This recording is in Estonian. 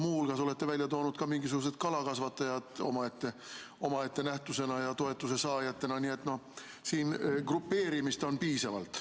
Muu hulgas olete välja toonud ka mingisugused kalakasvatajad omaette nähtusena ja toetuse saajatena, nii et siin on grupeerimist piisavalt.